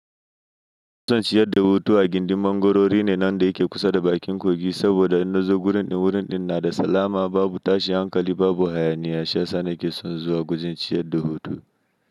Zan tsaya nayi hoto ajikin mangwarorin nan dake kusa da bakin kogi, saboda in nazo wurin nada salama babu tashin hankali babu hayaniya. Shiyasaa na ke son zuwa gujin ciyar da hutu.